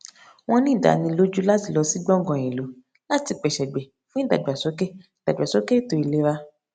wọn ní ìdánilójú láti lọ sí gbọngàn ìlú láti pè ṣègbè fún ìdàgbásókè ìdàgbásókè ètò ìlera